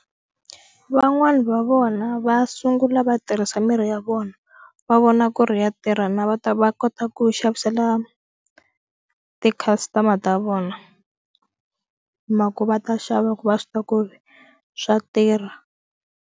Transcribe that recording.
Van'wani va vona va sungula va tirhisa mirhi ya vona va vona ku ri ya tirha na va ta va kota ku xavisela ti-customer-a ta vona mhaka va ta xava va swi tiva ku ri swa tirha.